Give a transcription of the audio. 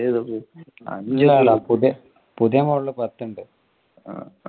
പുതിയ model പത്തുണ്ട്.